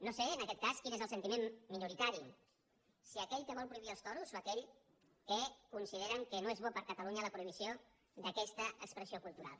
no sé en aquest cas quin és el sentiment minoritari si aquell que vol prohibir els toros o aquell que considera que no és bona per a catalunya la prohibició d’aquesta expressió cultural